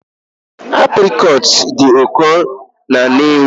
Aprịcot dị ụkọ na Nnewi